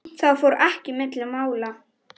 Það fór ekki milli mála.